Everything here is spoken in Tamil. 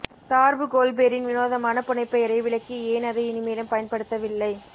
சார்பு கோல்பெரின் வினோதமான புனைப்பெயரை விளக்கி ஏன் அதை இனிமேலும் பயன்படுத்தவில்லை